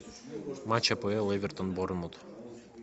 матч апл эвертон борнмут